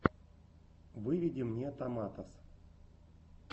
выведи мне томатос